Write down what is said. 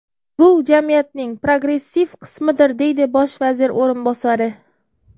Bu jamiyatning progressiv qismidir”, deydi bosh vazir o‘rinbosari.